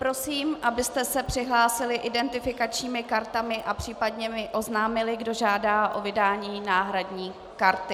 Prosím, abyste se přihlásili identifikačními kartami a případně mi oznámili, kdo žádá o vydání náhradní karty.